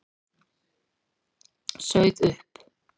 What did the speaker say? Sauð upp.